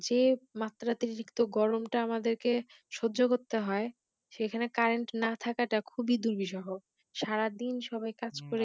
মাত্রাতিক্ত গরমটা আমাদেরকে সহ্য করতে হয় সেখানে Current না থাকাটা খুবি দুরবিশহ সারা দিন সবাই কাজ করে